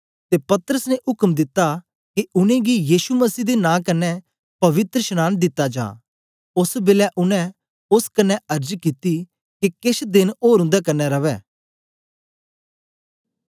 ते पतरस ने उक्म दिता के उनेंगी यीशु मसीह दे नां कन्ने पवित्रशनांन दिता जा ओस बेलै उनै ओस कन्ने अर्ज कित्ती के केछ देन ओर उंदे कन्ने रवै